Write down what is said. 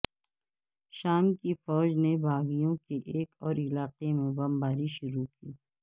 شام کی فوج نے باغیوں کے ایک اور علاقے پر بمباری شروع کی